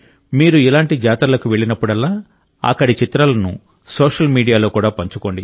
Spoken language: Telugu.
మీరు ఇలాంటి జాతరలకు వెళ్ళినప్పుడల్లా అక్కడి చిత్రాలను సోషల్ మీడియాలో కూడా పంచుకోండి